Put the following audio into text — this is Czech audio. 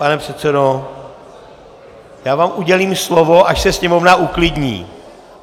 Pane předsedo, já vám udělím slovo, až se sněmovna uklidní!